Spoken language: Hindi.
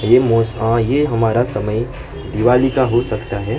ये मौस हां ये हमारा समय दिवाली का हो सकता है।